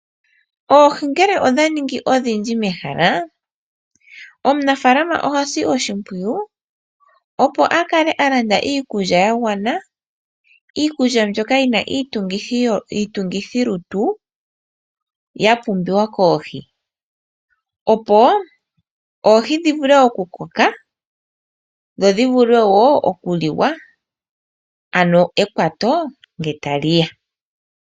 Oohi ngele odha ningi odhindji mehala, omunafaalama oha si oshimpwiyu opo a kale a landa iikulya ya gwana, iikulya mbyoka yi na iitungithilutu ya pumbiwa koohi, opo oohi dhi vule okukoka dho dhi vule wo okuliwa, ano ekwato ngele ta li ya.